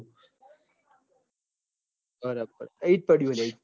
બરાબર ઇજ પડું હ